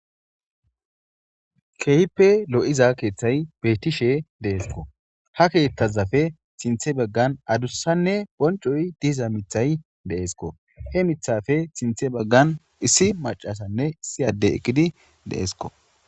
Keehppe lo7iza keeththay bettishe deesko ha keeththazafe sinthe baggan adussanne boncoy diza mithay deesko he mithafe sinthe baggan issi macasanne issi adde eqqidi deesko.